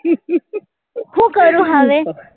હું કરું હવે